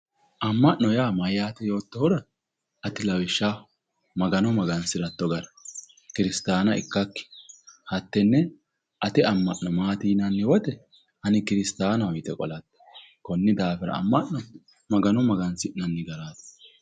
Amma'no yaa mayyaate yoottohura ati lawishshaho magano magansiratto gara kuristaana ikkakki ate amma'no maati yinanni woyite ani kiristaanaho yite qolatto konni daafira amma'no magano magansiratti garaati.